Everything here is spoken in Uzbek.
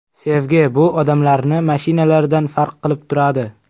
Sevgi bu odamlarni mashinalardan farq qilib turadi.